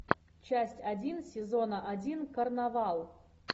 часть один сезона один карнавал